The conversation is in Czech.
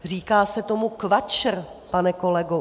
Říká se tomu KVAČR, pane kolego.